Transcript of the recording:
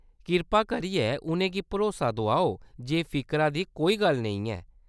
कृपा करियै उʼनें गी भरोसा दोआओ जे फिकरा दी कोई गल्ल नेईं ऐ।